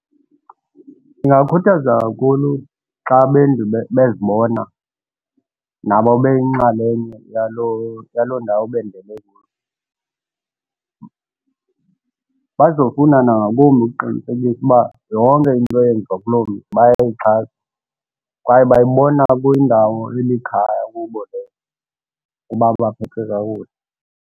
Ingakhuthaza kakhulu xa abendi bezibona nabo beyinxalenye yaloo ndawo bendele kuyo. Bazofuna nangakumbi ukuqinisekisa ukuba yonke into eyenziwa kulo mzi bayayixhasa kwaye bayibona kuyindawo elikhaya kubo leyo uba baphethwe kakuhle.